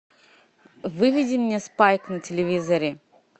выведи мне спайк на телевизоре